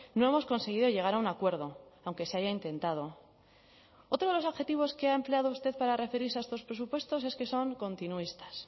no hemos conseguido llegar a un acuerdo aunque se haya intentado otro de los objetivos que ha empleado usted para referirse a estos presupuestos es que son continuistas